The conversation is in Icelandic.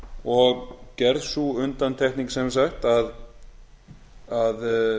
og gerð sú undantekning sem sagt að